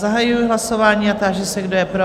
Zahajuji hlasování a táži se, kdo je pro?